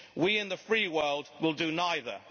We in the free world will do neither.